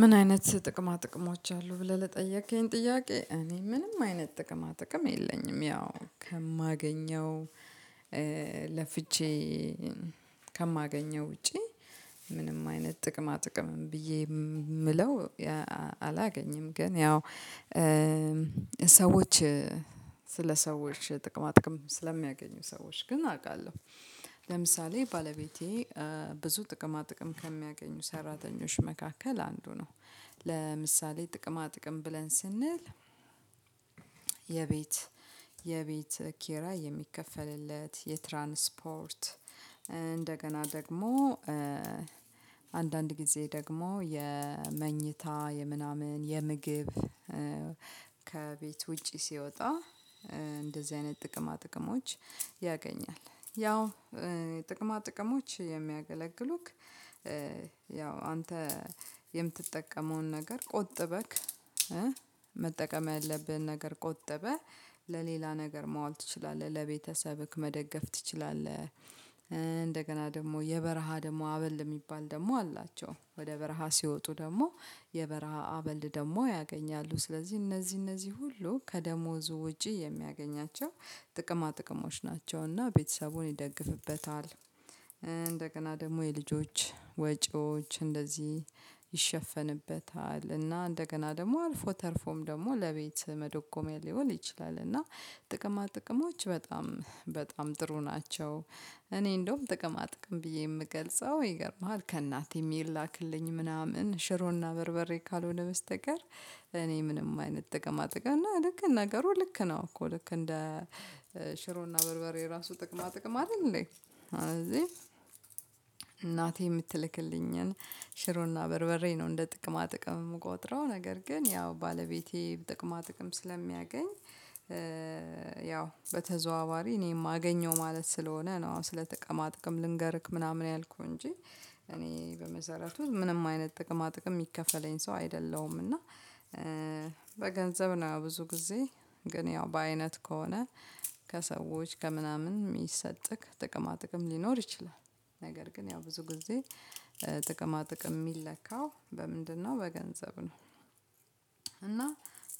ምን አይነት ጥቅማ ጥቅሞች አሉ ብለህ ለጠየከኝ ጥያቄ እኔ ምንም አይነት ጥቅማ ጥቅም የለኝም። ያው ከማገኘው ለፍቼ ከማገኘው ውጪ ምንም አይነት ጥቅማ ጥቅም ብዬ የምለው አላገኝም። ግን ያው ሰዎች ስለ ሰዎች ጥቅማ ጥቅም ስለሚያገኙ ሰዎች ግን አውቃለሁ። ለምሳሌ ባለቤቴ ብዙ ጥቅማ ጥቅም ከሚያገኙ ሰራተኞች መካከል አንዱ ነው። ለምሳሌ ጥቅማ ጥቅም ብለን ስንል የቤት የቤት ኪራይ የሚከፈልለት የትራንስፖርት እንደገና ደግሞ አንዳንድ ጊዜ ደግሞ የመኝታ የምናምን የምግብ ከቤት ውጪ ሲወጣ እንደዚህ አይነት ጥቅማ ጥቅሞች ያገኛል። ያው ጥቅማ ጥቅሞች የሚያገለግሉክ ያው አንተ የምትጠቀመውን ነገር ቆጥበክ መጠቀም ያለብህን ነገር ቆጥበህ ለሌላ ነገር ማዋል ትችላለህ ለቤተሰብህ መደገፍ ትችላለህ። እንደገና ደግሞ የበረሃ ደግሞ አበል የሚባል ደግሞ አላቸው ወደ በረሃ ሲወጡ ደግሞ የበረሃ አበል ደግሞ ያገኛሉ። ስለዚህ እነዚህ እነዚህ ሁሉ ከደሞዝ ውጪ የሚያገኛቸው ጥቅማ ጥቅሞች ናቸውና ቤተሰቡን ይደግፍበታል። እንደገና ደግሞ የልጆች ወጪዎች እንደዚህ ይሸፈንበታል እና እንደገና ደግሞ አልፎ ተርፎም ደግሞ ለቤት መደጎሚያ ሊሆን ይችላል እና ጥቅማ ጥቅሞች በጣም በጣም ጥሩ ናቸው። እኔ እንደውም ጥቅማ ጥቅም ብዬ የምገልጸው ይገርምሀል ከእናቴ የሚላክልኝ ምናምን ሽሮና በርበሬ ካልሆነ በስተቀር እኔ ምንም አይነት ጥቅማ ጥቅም እና ልክ ነገሩ ልክ ነው እኮ ልክ እንደ ሽሮና በርበሬ ራሱ ጥቅማ ጥቅም አይደል እንዴ? ስለዚህ እናቴ የምትልክልኝን ሽሮና በርበሬ ነው እንደ ጥቅማ ጥቅም የምቆጥረው ነገር ግን ያው ባለቤቴ ጥቅማ ጥቅም ስለሚያገኝ ያው በተዘዋዋሪ እኔም አገኘሁ ማለት ስለሆነ ነው ስለ ጥቅማ ጥቅም ልንገርክ ምናምን ያልኩህ እንጂ። እኔ በመሰረቱ ምንም አይነት ጥቅማ ጥቅም የሚከፈለኝ ሰው አይደለሁም። እና በገንዘብ ነው ብዙ ጊዜ ግን ያው በአይነት ከሆነ ከሰዎች ከምናምን የሚሰጥክ ጥቅማ ጥቅም ሊኖር ይችላል ነገር ግን ያው ብዙ ጊዜ ጥቅማ ጥቅም የሚለካው በምንድነው በገንዘብ ነው። እና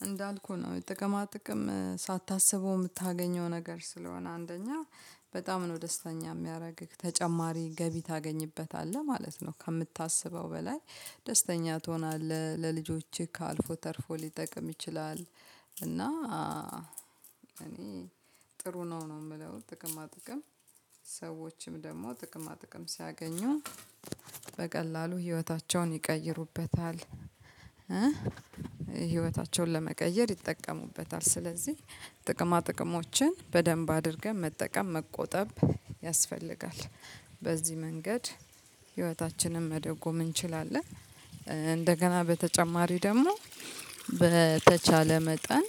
እንዳልኩህ ነው ጥቅማ ጥቅም ሳታስበው የምታገኘው ነገር ስለሆነ አንደኛ በጣም ነው ደስተኛ የሚያደርግህ ተጨማሪ ገቢ ታገኝበታለህ ማለት ነው። ከምታስበው በላይ ደስተኛ ትሆናለህ ለልጆችህ አልፎ ተርፎ ሊጠቅም ይችላል። እና እኔ ጥሩ ነው ነው የምለው ጥቅማ ጥቅም ሰዎችም ደግሞ ጥቅማ ጥቅም ሲያገኙ በቀላሉ ህይወታቸውን ይቀይሩበታል። ህይወታቸውን ለመቀየር ይጠቀሙበታል። ስለዚህ ጥቅማ ጥቅሞችን በደንብ አድርገን መጠቀም መቆጠብ ያስፈልጋል። በዚህ መንገድ ህይወታችንን መደጎም እንችላለን። እንደገና በተጨማሪ ደግሞ በተቻለ መጠን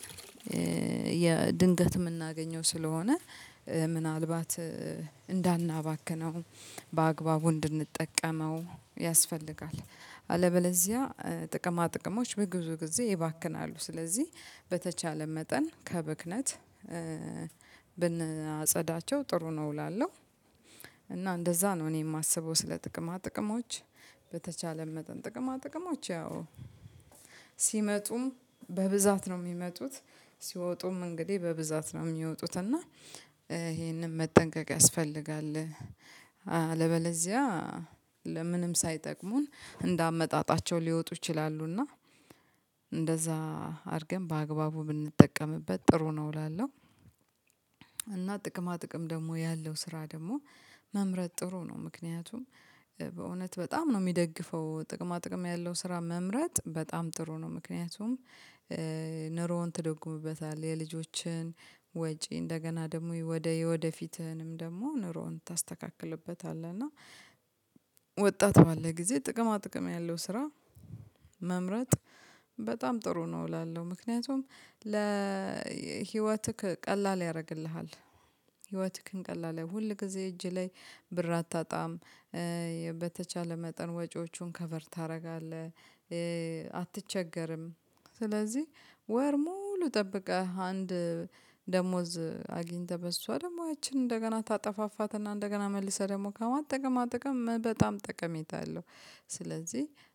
ድንገት የምናገኘው ስለሆነ ምናልባት እንዳናባክነው በአግባቡ እንድንጠቀመው ያስፈልጋል። አለበለዚያ ጥቅማ ጥቅሞች በግዙ ጊዜ ይባክናሉ። ስለዚህ በተቻለ መጠን ከብክነት ብንአጸዳቸው ጥሩ ነው እላለሁ። እና እንደዛ ነው እኔ የማስበው ስለ ጥቅማ ጥቅሞች በተቻለ መጠን ጥቅማ ጥቅሞች ያው ሲመጡም በብዛት ነው የሚመጡት ሲወጡም እንግዲህ በብዛት ነው የሚወጡት እና ይሄንን መጠንቀቅ ያስፈልጋል። አለበለዚያ ለምንም ሳይጠቅሙን እንደ አመጣጣቸው ሊወጡ ይችላሉ እና እንደዛ አድርገን በአግባቡ ብንጠቀምበት ጥሩ ነው እላለሁ። እና ጥቅማ ጥቅም ደግሞ ያለው ስራ ደግሞ መምረጥ ጥሩ ነው። ምክንያቱም በእውነት በጣም ነው የሚደግፈው ጥቅማ ጥቅም ያለው ስራ መምረጥ በጣም ጥሩ ነው። ምክንያቱም ኑሮህን ትደጉምበታለህ የልጆችህን ወጪ እንደገና ደግሞ ወደ ወደፊትህንም ደግሞ ኑሮህን ታስተካክልበታለህ። እና ወጣት ባለህ ጊዜ ጥቅማ ጥቅም ያለው ስራ መምረጥ በጣም ጥሩ ነው እላለሁ። ምክንያቱም ለህይወትህ ቀላል ያደርግልሃል። ህይወትህን ቀላል ሁል ጊዜ እጅህ ላይ ብር አታጣም። በተቻለ መጠን ወጪዎቹን ከቨር ታደርጋለህ አትቸገርም። ስለዚህ ወር ሙሉ ጠብቀህ አንድ ደሞዝ አግኝተህ በሷ ደግሞ ያችን እንደገና ታጠፋፋትና እንደገና መልሰህ ደግሞ ከማ ጥቅማ ጥቅም በጣም ጠቀሜታ አለው። ስለዚህ